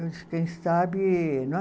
Eu disse, quem sabe, não é?